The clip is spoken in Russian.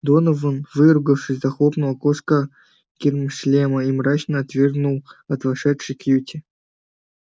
донован выругавшись захлопнул окошко гермошлема и мрачно отвернул от вошедшей кьюти